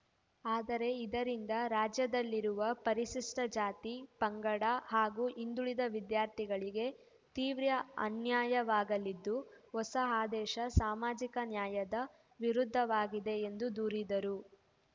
ಆದರೆ ಇದರಿಂದ ರಾಜ್ಯದಲ್ಲಿರುವ ಪರಿಶಿಷ್ಟಜಾತಿ ಪಂಗಡ ಹಾಗೂ ಹಿಂದುಳಿದ ವಿದ್ಯಾರ್ಥಿಗಳಿಗೆ ತೀವ್ರ ಅನ್ಯಾಯವಾಗಲಿದ್ದು ಹೊಸ ಆದೇಶ ಸಾಮಾಜಿಕ ನ್ಯಾಯದ ವಿರುದ್ಧವಾಗಿದೆ ಎಂದು ದೂರಿದರು